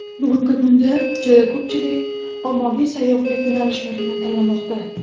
Bugungi kunda juda ko‘pchilik ommaviy sayyohlik yo‘nalishlarini tanlamoqda.